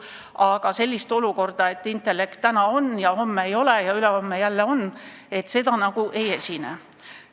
Aga sellist olukorda, et intellekt täna on ja homme ei ole ja ülehomme jälle on, nagu ei esine.